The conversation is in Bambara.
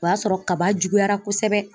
O y'a sɔrɔ kaba juguyara kosɛbɛ.